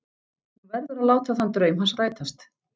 Hún verður að láta þann draum hans rætast.